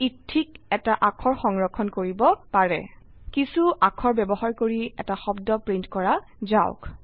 ই ঠিক এটা অাক্ষৰ সংৰক্ষণ কৰিব পাৰে কিছো অক্ষৰ ব্যবহাৰ কৰি এটা শব্দ প্ৰিন্ট কৰা যাওক